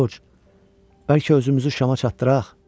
Coç, bəlkə özümüzü Şamaya çatdıraq.